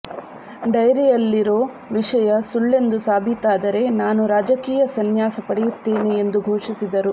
ಡೈರಿಯಲ್ಲಿರೋ ವಿಷಯ ಸುಳ್ಳೆಂದು ಸಾಬೀತಾದರೆ ನಾನು ರಾಜಕೀಯ ಸನ್ಯಾಸ ಪಡೆಯುತ್ತೇನೆ ಎಂದು ಘೋಷಿಸಿದರು